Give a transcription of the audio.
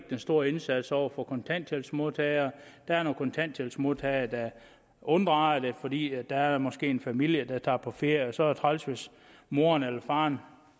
den store indsats over for kontanthjælpsmodtagere der er nogle kontanthjælpsmodtagere der unddrager sig fordi der måske er en familie der tager på ferie og så er det træls hvis moren eller faren